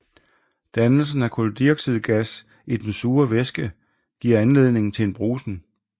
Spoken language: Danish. Dannelsen af kuldioxidgas i den sure væske giver anledning til en brusen